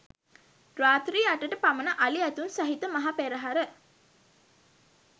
රාත්‍රී අටට පමණ අලි ඇතුන් සහිත මහ පෙරහර